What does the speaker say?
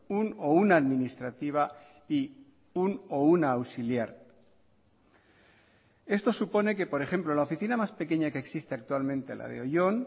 un o una administrativa y un o una auxiliar esto supone que por ejemplo la oficina más pequeña que existe actualmente la de oyón